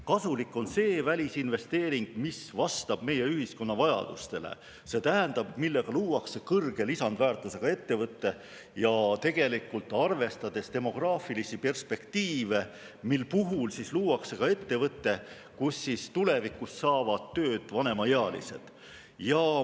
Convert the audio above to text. Kasulik on see välisinvesteering, mis vastab meie ühiskonna vajadustele, see tähendab, millega luuakse kõrge lisandväärtusega ettevõte, arvestades demograafilisi perspektiive, ettevõte, kus tulevikus saavad tööd ka vanemaealised.